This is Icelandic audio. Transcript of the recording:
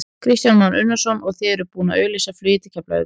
Kristján Már Unnarsson: Og þið eruð búinn að auglýsa flugið til Keflavíkur?